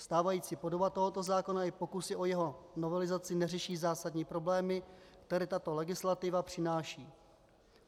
Stávající podoba tohoto zákona i pokus o jeho novelizaci neřeší zásadní problémy, které tato legislativa přináší.